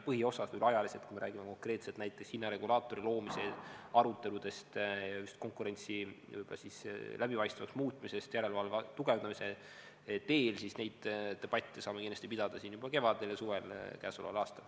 Põhiosas ajaliselt, kui me räägime konkreetselt näiteks hinnaregulaatori loomise aruteludest, konkurentsi võib-olla läbipaistvamaks muutmisest järelevalve tugevdamise teel, siis neid debatte saame kindlasti pidada siin juba kevadel ja suvel käesoleval aastal.